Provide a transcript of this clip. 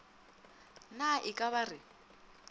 na e ka ba re